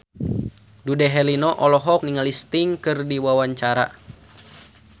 Dude Herlino olohok ningali Sting keur diwawancara